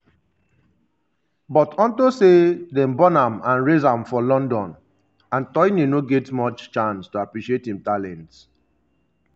but onto say dem born am and raise am for london antoine no get much chance to appreciate im talents.